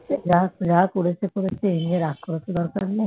যাক যা করেছে করেছে এই নিয়ে রাগ করার তো দরকার নেই